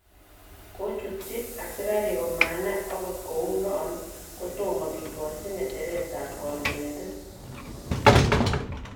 Kochutchi asikarik komanai, ot kounon kotomo kikochi ngeche'ret ab kondoidet.